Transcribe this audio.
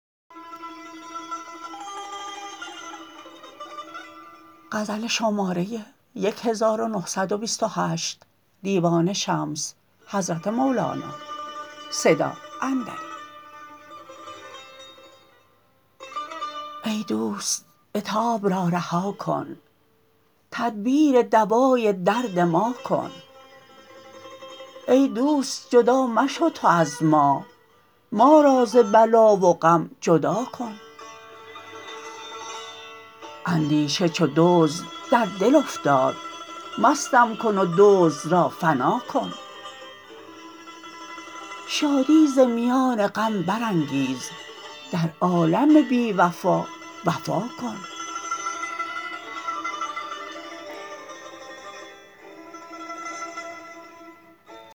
ای دوست عتاب را رها کن تدبیر دوای درد ما کن ای دوست جدا مشو تو از ما ما را ز بلا و غم جدا کن اندیشه چو دزد در دل افتاد مستم کن و دزد را فنا کن شادی ز میان غم برانگیز در عالم بی وفا وفا کن